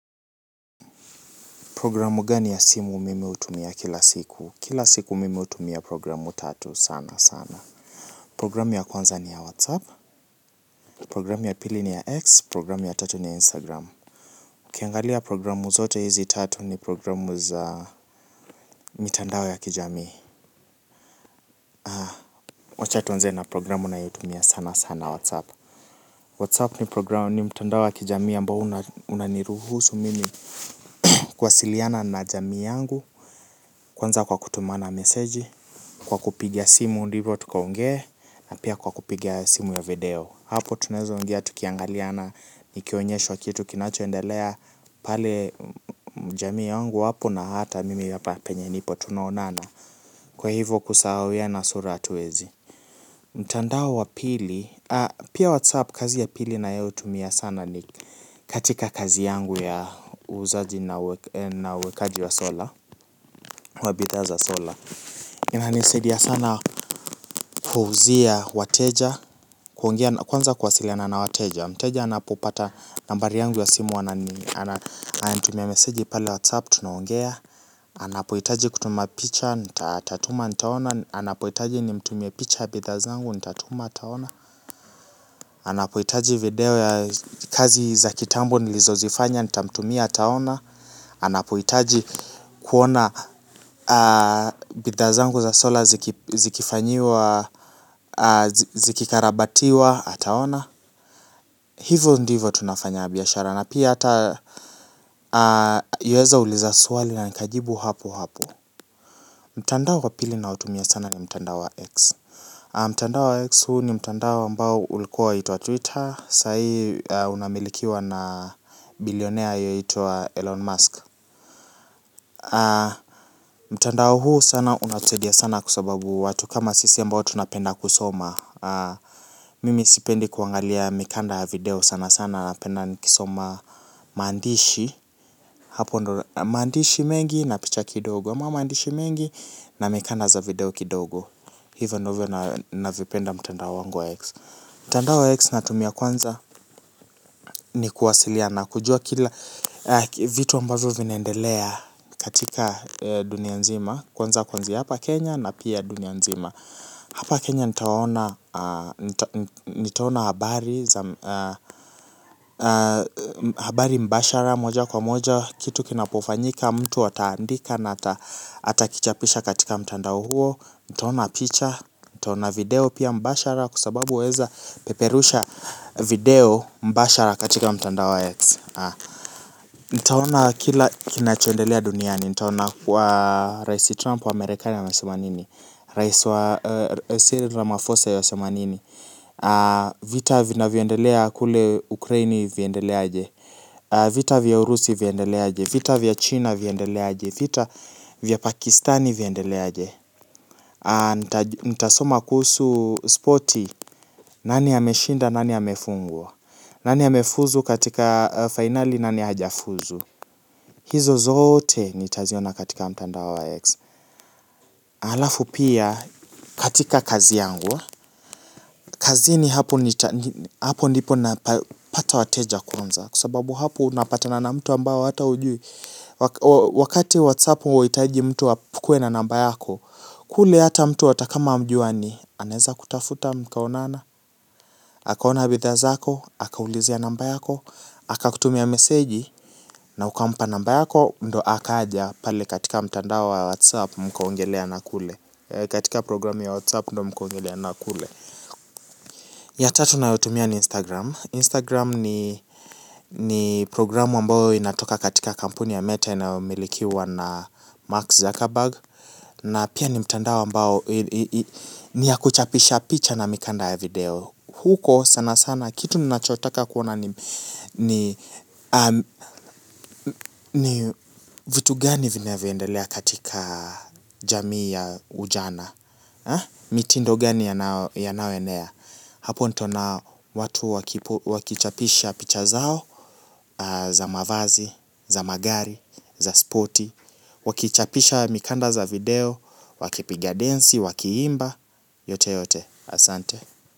Programu gani ya simu mimi hutumia kila siku? Kila siku mimi hutumia programu tatu sanasana. Programu ya kwanza ni ya WhatsApp. Programu ya pili ni ya X. Programu ya tatu ni ya Instagram. Ukiangalia programu zote hizi tatu ni programu za mitandao ya kijamii. Wacha tuanze na programu nayoutumia sanasana WhatsApp. WhatsApp ni programu ni mtandao ya kijamii ambao unaniruhusu mimi kuwasiliana na jamii yangu. Kwanza kwa kutumana meseji. Kwa kupiga simu ndivo tukaongee na pia kwa kupiga simu ya video hapo tunaeza ongea tukiangaliana nikionyeshwa kitu kinachoendelea pale jamii yangu hapo na hata mimi hapa penye nipo tunaonana kwa hivo kusahauiana sura hatuwezi mtandao wa pili pia whatsapp kazi ya pili nayoutumia sana ni katika kazi yangu ya uuzaji na uwekaji wa sola wa bidhaa za sola inanisadia sana kuuzia wateja kwanza kuwasiliana na wateja mteja anapopata nambari yangu ya simu ananitumia meseji pale whatsapp tunaongea anapohitaji kutuma picha atatuma nitaona anapohitaji nimtumie picha ya bidhaa zangu nitatuma ataona anapohitaji video ya kazi za kitambo nilizozifanya nitamtumia ataona anapohitaji kuona bidhaa zangu za sola zikifanyiwa zikikarabatiwa ataona hivo ndivo tunafanya biashara na pia hata yuwaeza uliza swali na nikajibu hapohapo mtandao kwa pili naotumia sana ni mtandao wa X mtandao wa X huu ni mtandao ambao ulikuwa waitwa Twitter saa hii unamilikiwa na bilionea yuwaitwa Elon Musk mtandao huu sana unatusadia sana kwa sababu watu kama sisi ambao tunapenda kusoma mimi sipendi kuangalia mikanda ya video sanasana napenda kusoma mandishi hapo maandishi mengi na picha kidogo, ama maandishi mengi na mikanda za video kidogo hivyo ndivyo navyopenda mtandao wangu wa X mtandao wa X natumia kwanza ni kuwasiliana kujua kila vitu ambavyo vinendelea katika dunia nzima kwanza kuanzia hapa Kenya na pia dunia nzima hapa Kenya nitaona nitaona habari. Habari mbashara moja kwa moja. Kitu kinapofanyika mtu ataandika. Na atakichapisha katika mtandao huo. Nitaona picha. Nitaona video pia mbashara. Kwa sababu waeza peperusha video mbashara katika mtandao wa X. Nitaona kila kinachondelea duniani. Nitaona kuwa Raisi Trump wa Amerikani amesema nini. Raisi wa Cyril Ramaphosa yuwasema nini. Vita vinavyoendelea kule Ukraini vyaendelea aje. Vita vya Urusi vyaendelea aje. Vita vya China vyaendelea aje. Vita vya Pakistani vyaendelea aje. Nitasoma kuhusu spoti. Nani ameshinda, nani amefungwa. Nani amefuzu katika finali, nani hajafuzu. Hizo zote nitaziona katika mtandao wa X. Halafu pia katika kazi yangu kazini hapo ndipo napapata wateja kwanza. Kwa sababu hapo unapatana na mtu ambao hata hujui. Wakati Whatsapp huwahitaji mtu akuwe na namba yako. Kule hata mtu hata kama hamjuani anaeza kutafuta mkaonana akaona bidhaa zako, akaulizia namba yako akakutumia meseji na ukampa namba yako ndio akaja pale katika mtandao wa Whatsapp mkaongelea na kule katika programu ya Whatsapp ndio mkaongelea na kule. Ya tatu nayotumia ni Instagram. Instagram ni programu ambayo inatoka katika kampuni ya meta inayomilikiwa na Mark Zuckerberg. Na pia ni mtandao ambao ni yakuchapisha picha na mikanda ya video. Huko sanasana kitu ninachotaka kuona ni vitu gani vinavyoendelea katika jamii ya ujana. Mitindo gani yanayoenea. Hapo nitaona watu wakichapisha picha zao. Za mavazi, za magari, za spoti. Wakichapisha mikanda za video. Wakipiga densi, wakiimba. Yote yote, asante.